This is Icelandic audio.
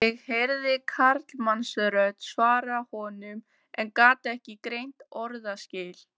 Ég heyrði karlmannsrödd svara honum en gat ekki greint orðaskil.